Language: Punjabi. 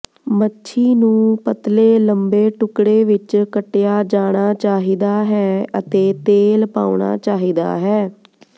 ਮੱਛੀ ਨੂੰ ਪਤਲੇ ਲੰਬੇ ਟੁਕੜੇ ਵਿਚ ਕੱਟਿਆ ਜਾਣਾ ਚਾਹੀਦਾ ਹੈ ਅਤੇ ਤੇਲ ਪਾਉਣਾ ਚਾਹੀਦਾ ਹੈ